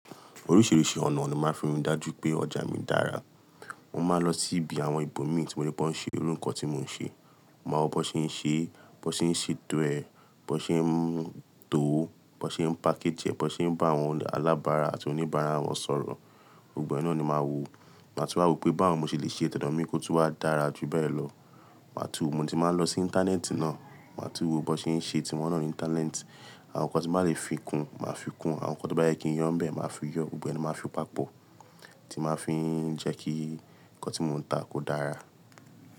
Oríṣìíríṣìí ọ̀nà ni máa ń fi dájú pé ọjà mi dára. Mo máa ń lọ sí ibi àwọn ìbòmí tí mo rí pé wọ́n ń ṣe irú nkọ tí mò ń ṣe. Mo máa wo bó ṣe ń ṣe, bó ṣe ń ṣe eto e, bó ṣe ń to, bó ṣe ń package ẹ, bó ṣe ń bá àwọn alábaara àti oníbàárà wọn sọ̀rọ̀. Gbogbo ẹ náà ni màá wo. Màá tú wá wo pé báwo mo ṣe lè ṣe ti odo mi kó tú wá dára jù bẹ́ẹ̀ lọ. Màá tú, mo ti máa ń lọ sí Íńtánẹ́ẹ̀tì náà. Màá tú wo bó ṣe ń ṣe, tí wọ́n naa ní Íńtánẹ́ẹ̀tì. Àwọn nǹkan tí bá lè fi kún, màá fi kún. Àwọn nǹkan tí ó bá yẹ kí n yo n bẹ́ẹ̀, màá fi yọ. Gbogbo ẹ ni máa fi papọ̀, tí màá fi ń jẹ́ kí nǹkan tí mò ń ta kó dára.